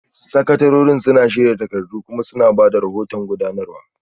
Sakatarorin suna shirya takardu kuma suna ba da rahoton gudanarwa